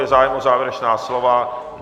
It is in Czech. Je zájem o závěrečná slova?